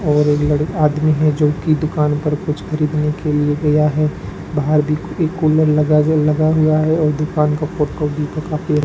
और एक लड़ आदमी है जो की दुकान पर कुछ खरीदने के लिए गया है बाहर भी एक कुलर लगाजे लगा हुआ है और दुकान का फोटो भी --